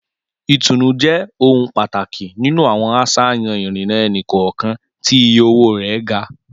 Comfort is a priority in high-cost individual transit options.